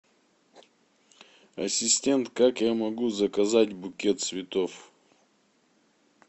ассистент как я могу заказать букет цветов